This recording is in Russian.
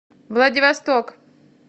владивосток